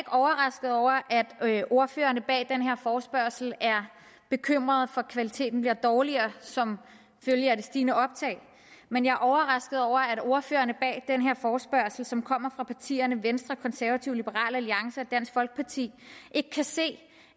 overrasket over at ordførerne bag den her forespørgsel er bekymret for at kvaliteten bliver dårligere som følge af det stigende optag men jeg er overrasket over at ordførerne bag den her forespørgsel som kommer fra partierne venstre konservative liberal alliance og dansk folkeparti ikke kan se